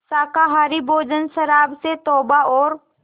शाकाहारी भोजन शराब से तौबा और